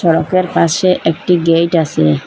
Pump -এর পাশে একটি গেইট আসে।